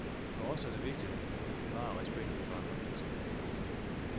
For os er det vigtigt at bevare respekten for andre mennesker.